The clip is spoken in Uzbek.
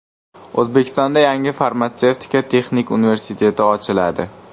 O‘zbekistonda yangi Farmatsevtika texnik universiteti ochiladi.